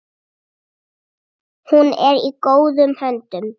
Hún er í góðum höndum.